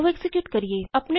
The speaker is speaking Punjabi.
ਚਲੋ ਐਕਜ਼ੀਕਿਯੂਟ ਕਰੀਏ